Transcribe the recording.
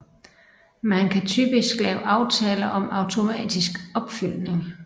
Man kan typisk lave aftaler om automatisk opfyldning